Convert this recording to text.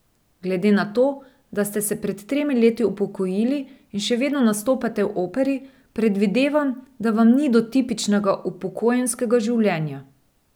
Glede na to, da ste se pred tremi leti upokojili in še vedno nastopate v Operi, predvidevam, da vam ni do tipičnega upokojenskega življenja.